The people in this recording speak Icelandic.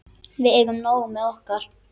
Við eigum nóg með okkar.